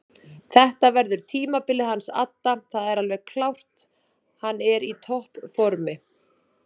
Þetta verður tímabilið hans adda það er alveg klárt hann er í toppformi.